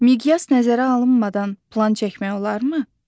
Miqyas nəzərə alınmadan plan çəkmək olarmı?